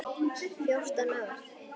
Fjórtán ár!